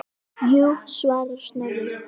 Jú svarar Snorri.